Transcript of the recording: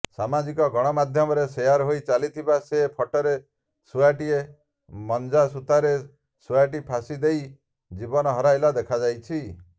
ସାମାଜିକ ଗଣମାଧ୍ୟମରେ ସେୟାର୍ ହୋଇ ଚାଲିଥିବା ସେ ଫଟୋରେ ଶୁଆଟିଏ ମାଞ୍ଜାସୂତାରେ ଶୁଆଟି ଫାଶି ଦେଇ ଜୀବନ ହରାଇଲା ଦେଖାଯାଉଛି